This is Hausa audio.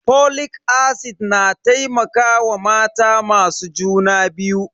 Folic acid na taimakawa mata masu juna biyu.